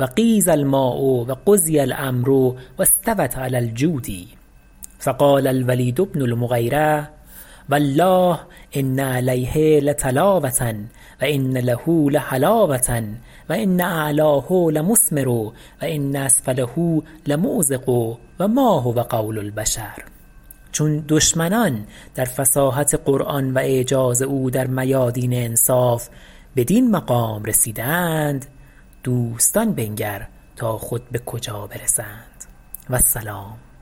و غیض الماء و قضی الامر و استوت علی الجودی فقال الولید بن المغیرة والله ان علیه لطلاوة و ان له لحلاوة و ان اعلاه لمثمر و ان اسفله لمعذق و ما هو قول البشر چون دشمنان در فصاحت قرآن و اعجاز او در میادین انصاف بدین مقام رسیدند دوستان بنگر تا خود به کجا برسند و السلام